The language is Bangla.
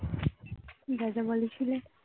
দাদা বলেছিলে